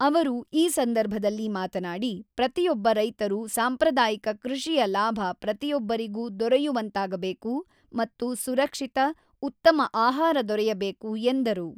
ಅವರು ಈ ಸಂದರ್ಭದಲ್ಲಿ ಮಾತನಾಡಿ, ಪ್ರತಿಯೊಬ್ಬ ರೈತರು ಸಾಂಪ್ರದಾಯಿಕ ಕೃ಼ಷಿಯ ಲಾಭ ಪ್ರತಿಯೊಬ್ಬರಿಗೂ ದೊರೆಯುವಂತಾಗಬೇಕು ಮತ್ತು ಸುರಕ್ಷಿತ, ಉತ್ತಮ ಆಹಾರ ದೊರೆಯಬೇಕು ಎಂದರು.